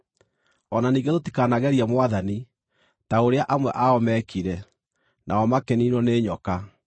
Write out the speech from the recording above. O na ningĩ tũtikanagerie Mwathani, ta ũrĩa amwe ao meekire, nao makĩniinwo nĩ nyoka.